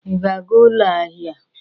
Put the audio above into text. Ị ga-aga ụlọ ahịa?